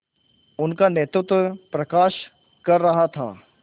उनका नेतृत्व प्रकाश कर रहा था